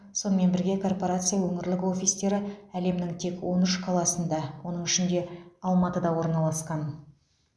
сонымен бірге корпорация өңірлік офистері әлемнің тек он үш қаласында оның ішінде алматыда орналасқан